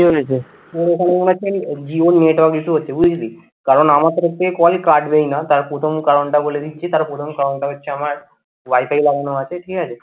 তোর ওখানে মনে হচ্ছে জিওর network issue হচ্ছে বুঝলি কারণ আমার তরফ থেকে call কাটবেই না, তার প্রথম কারণটা বলে দিচ্ছি। তার প্রথম কারণটা হচ্ছে আমার wifi লাগানো আছে ঠিক আছে।